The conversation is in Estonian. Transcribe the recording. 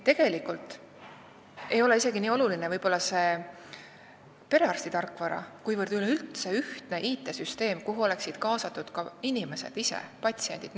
Tegelikult ei olegi ehk nii oluline see perearstitarkvara, kuivõrd üleüldine ühtne IT-süsteem, kuhu oleksid kaasatud ka inimesed ise, näiteks patsiendid.